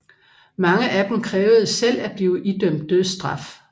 Mange af dem krævede selv at blive idømt dødsstraf